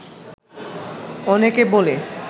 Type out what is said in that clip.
অনেকে বলে